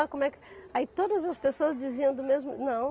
Como é que. Aí todas as pessoas diziam do mesmo não.